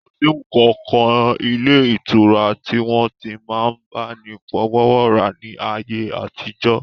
Kò sí ǹkankan ilé ìtura tí wọ́n ti n máa bá ni fọwọ́wọ́ra ní ayé àtijọ́